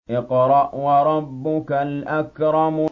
اقْرَأْ وَرَبُّكَ الْأَكْرَمُ